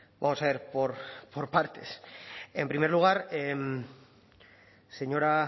vamos a ver por partes en primer lugar señora